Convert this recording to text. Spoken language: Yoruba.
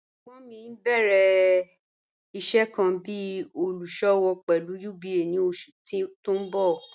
Ẹgbon mi n bẹ̀rẹ̀ iṣẹ̀ kan bí olúṣọ̀wọ̀ pẹ̀lú UBA ni oṣù tí n bọ̀.